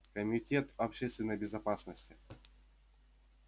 комитет общественной безопасности